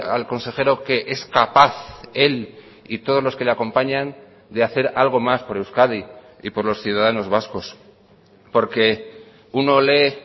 al consejero que es capaz él y todos los que le acompañan de hacer algo más por euskadi y por los ciudadanos vascos porque uno lee